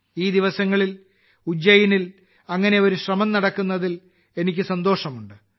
ഈ ദിവസങ്ങളിൽ ഉജ്ജയിനിൽ അത്തരമൊരു ശ്രമം നടക്കുന്നതിൽ എനിക്ക് സന്തോഷമുണ്ട്